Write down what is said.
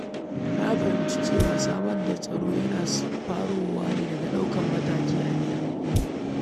Na fahimci cewa samar da tsaro yana farawa ne daga ɗaukar matakan kariya a gida.